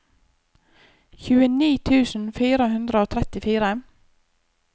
tjueni tusen fire hundre og trettifire